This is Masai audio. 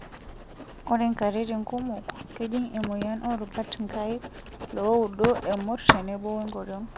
Ore nkatitin kumok, kejing emoyian oorubat nkaik, looudo, emurt tenebo onkoriong'.